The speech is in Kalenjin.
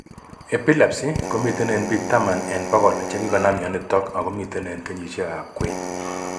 Epilepsy komiten en biik taman en bogol chekikonam myonitok ako miten en kenyisiek ab kwen